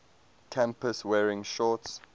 campus wearing shorts